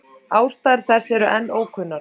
Ástæður þess eru enn ókunnar.